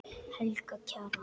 Helga Kjaran.